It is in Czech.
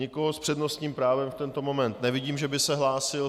Nikoho s přednostním právem v tento moment nevidím, že by se hlásil.